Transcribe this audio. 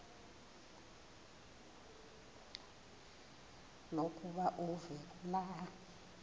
lokuba uve kulaa